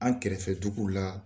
An kɛrɛfɛ dugu la